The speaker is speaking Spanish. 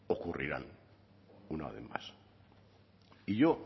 ocurrirán una vez más y yo